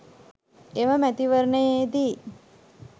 එම මැතිවරණයේදී